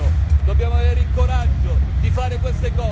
Dobbiamo avere il coraggio di fare queste cose.